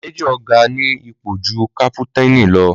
Májòr ga ní ipò júù cápútànì lọ